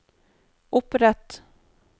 opprett